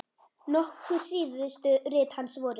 Nokkur síðustu rit hans voru